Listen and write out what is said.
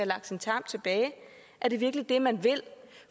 lagt sin tarm tilbage er det virkelig det man vil